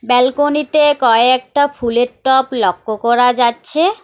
ব্যালকনিতে কয়েকটা ফুলের টপ লক্ষ্য করা যাচ্ছে।